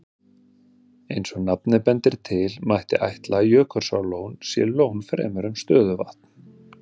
Eins og nafnið bendir til, mætti ætla að Jökulsárlón sé lón fremur en stöðuvatn.